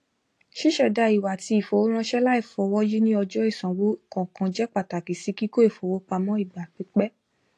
ṣiṣẹda ìwà ti ìfowóránṣẹ laifọwọyi ni ọjọ ìsanwó kọọkan jẹ pàtàkì sí kíkọ ifowópamọ ìgbà pípẹ